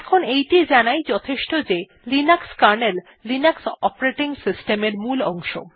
এখন এইটি জানাই যথেষ্ট যে Linux kernel Linux operating system এর মূল অংশ